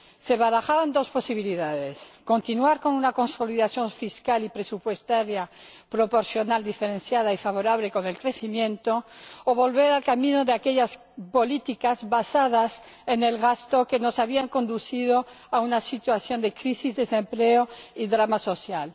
Se barajaban dos posibilidades continuar con una consolidación fiscal y presupuestaria proporcional, diferenciada y favorable para el crecimiento o volver al camino de aquellas políticas basadas en el gasto que nos habían conducido a una situación de crisis, desempleo y drama social.